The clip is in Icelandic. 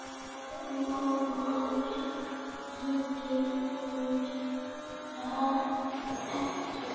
Móðir þín gerir það ekki.